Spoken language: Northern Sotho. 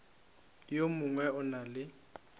yo mongwe o na le